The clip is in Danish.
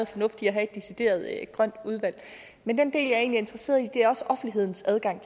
fornuft i at have et decideret grønt udvalg men den del er interesseret i er også offentlighedens adgang